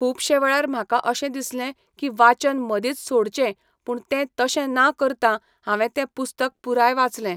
खुबशे वेळार म्हाका अशें दिसलें की वाचन मदींच सोडचें पूण तें तशें ना करता हांवें तें पुस्तक पूराय वाचलें.